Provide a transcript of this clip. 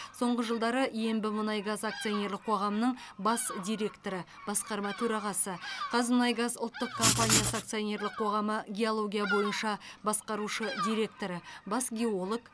соңғы жылдары ембімұнайгаз акционерлік қоғамының бас директоры басқарма төрағасы қазмұнайгаз ұлттық компаниясы акционерлік қоғамы геология бойынша басқарушы директоры бас геолог